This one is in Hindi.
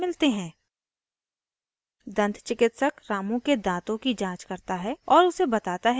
school से वापस आकर suresh और ramu दन्त चिकिइस ट्यूटोरियल को देखने के लिए धन्यवाद त्सक से मिलते हैं